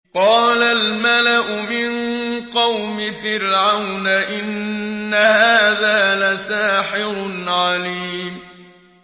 قَالَ الْمَلَأُ مِن قَوْمِ فِرْعَوْنَ إِنَّ هَٰذَا لَسَاحِرٌ عَلِيمٌ